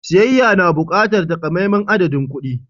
Siyayya na buƙatar takamaiman adadin kuɗi.